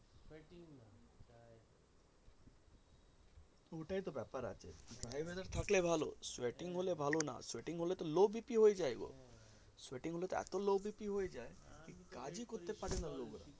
এতো গরম আছে